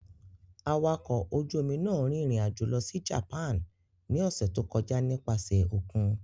Awakọ̀ ojú-omi náà rìnrìn-àjò lọ sí Japan ní ọ̀sẹ̀ tó kọjá nípasẹ̀ òkun.